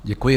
Děkuji.